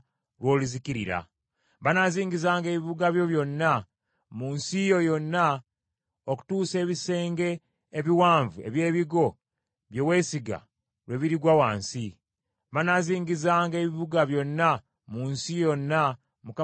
Banaazingizanga ebibuga byo byonna mu nsi yo yonna okutuusa ebisenge ebiwanvu eby’ebigo bye weesiga lwe birigwa wansi. Banaazingizanga ebibuga byonna mu nsi yonna Mukama Katonda wo gy’akuwa.